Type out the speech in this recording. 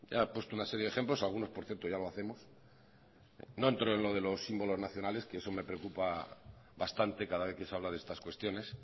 ha puesto una serie de ejemplo algunos por cierto ya lo hacemos no entro en lo de los símbolos nacionales que eso me preocupa bastante cada vez que se habla de estas cuestiones